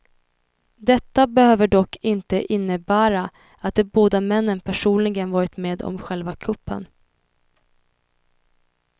Detta behöver dock inte innebära att de båda männen personligen varit med om själva kuppen.